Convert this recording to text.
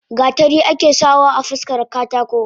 Gatari ake sa wa afaskara katako.